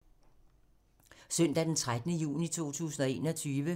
Søndag d. 13. juni 2021